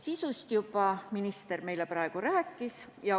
Sisust minister meile juba rääkis.